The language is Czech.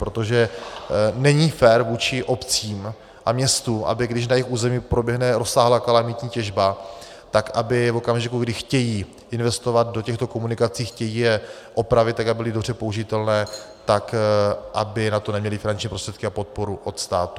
Protože není fér vůči obcím a městům, aby když na jejich území proběhne rozsáhlá kalamitní těžba, tak aby v okamžiku, kdy chtějí investovat do těchto komunikací, chtějí je opravit, tak aby byly dobře použitelné, tak aby na to neměly finanční prostředky a podporu od státu.